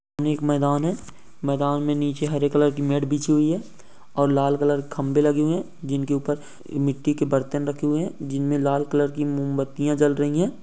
ये एक मैदान है मैदान में नीचे हरे कलर की मैट बिछी हुई हैं और लाल कलर के खम्बे लगे हुए जिनके ऊपर मिटटी के बर्तन रखे हुए हैं जिनमे लाल कलर की मोमबत्तियाँ जल रही हैं।